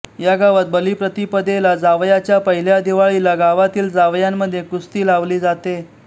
या गावात बलिप्रतिपदेला जावयाच्या पहिल्या दिवाळीला गावातील जावयांमध्ये कुस्ती लावली जाते